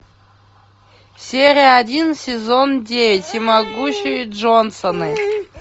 серия один сезон девять всемогущие джонсоны